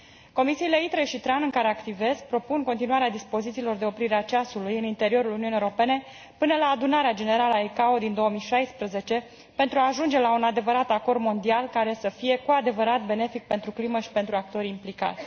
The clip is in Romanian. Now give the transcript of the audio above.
Comisiile ITRE și TRAN, în care activez, propun continuarea dispozițiilor de oprire a ceasului în interiorul Uniunii Europene până la adunarea generală a ICAO din 2016, pentru a ajunge la un adevărat acord mondial, care să fie cu adevărat benefic pentru climă și pentru actorii implicați.